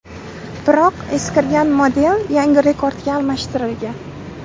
Biroq eskirgan model yangi Rekord’ga almashtirilgan.